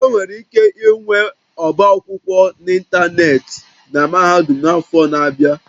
Enwere ike ịnwe ọba akwụkwọ n'ịntanetị na mahadum n'afọ ndị na-abịa